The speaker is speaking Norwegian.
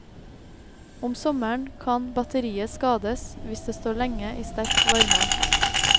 Om sommeren kan batteriet skades hvis det står lenge i sterk varme.